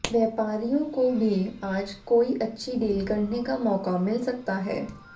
व्यापारियों को भी आज कोई अच्छी डील करने का मौका मिल सकता है